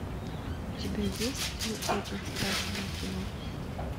у тебя есть ну очень страшное кино